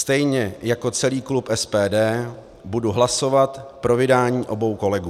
Stejně jako celý klub SPD budu hlasovat pro vydání obou kolegů.